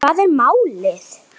Hvað er málið?